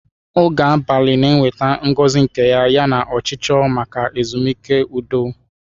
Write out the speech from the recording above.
Oge abalị na-eweta ngozi nke ya, yana ọchịchọ maka ezumike udo.